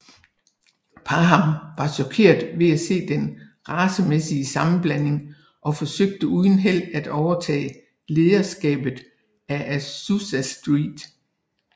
Parham var chokeret ved at se den racemæssige sammenblanding og forsøgte uden held at overtage lederskabet af Azusa Street